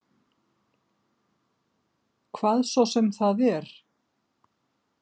Hvað svo sem það er.